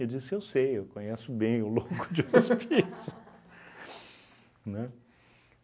Eu disse, eu sei, eu conheço bem o louco de hospício, né?